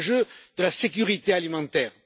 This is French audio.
C'est l'enjeu de la sécurité alimentaire.